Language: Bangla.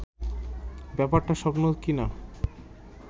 ব্যাপারটা স্বপ্ন কি না